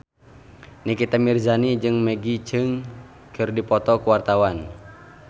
Nikita Mirzani jeung Maggie Cheung keur dipoto ku wartawan